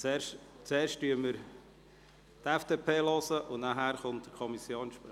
Wir hören zuerst die FDP an und danach den Kommissionssprecher.